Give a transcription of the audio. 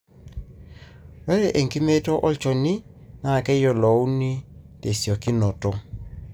ore enkimeito olchoni na keyiolouni tesiokinoto.